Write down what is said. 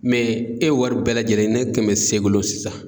e wari bɛɛ lajɛlen ne kɛmɛ s'e golo sisan